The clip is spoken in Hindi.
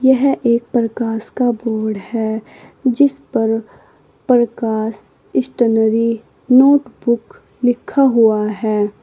यह एक प्रकाश का बोर्ड है जिस पर प्रकाश स्टेशनरी नोटबूक लिखा हुआ है।